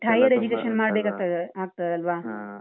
next higher education ಮಾಡ್ಬೇಕಾಗ್ತದೆ ಆಗ್ತದಲ್ವಾ.